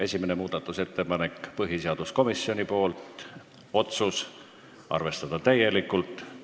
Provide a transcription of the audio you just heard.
Esimene muudatusettepanek on põhiseaduskomisjonilt, otsus on arvestada täielikult.